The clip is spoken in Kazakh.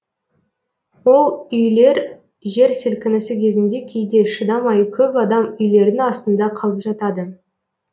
ол үйлер жер сілкінісі кезінде кейде шыдамай көп адам үйлердің астында қалып жатады